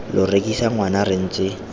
lo rekisa ngwana re ntse